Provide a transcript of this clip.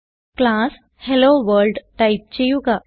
class hello world type ചെയ്യുക